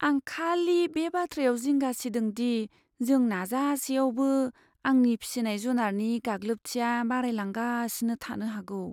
आं खालि बे बाथ्रायाव जिंगा सिदों दि जों नाजासेआवबो, आंनि फिसिनाय जुनारनि गाग्लोबथिया बारायलांगासिनो थानो हागौ।